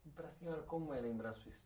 E para a senhora, como é lembrar sua